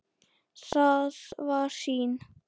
Það var sýn.